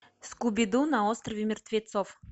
скуби ду на острове мертвецов